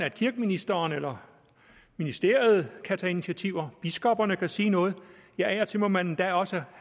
at kirkeministeren eller ministeriet kan tage initiativer biskopperne kan sige noget ja af og til må man endda også